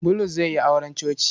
Bulus zai yi auren coci.